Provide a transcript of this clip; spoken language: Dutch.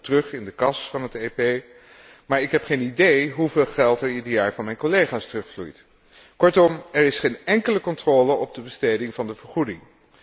Ik stort dat ook terug in de kas van het EP, maar ik heb geen idee hoeveel geld er ieder jaar van mijn collega's terugvloeit. Kortom, er is geen enkele controle op de besteding van de vergoeding.